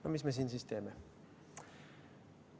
No mis me siin siis teeme?